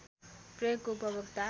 प्रयोगको उपभोक्ता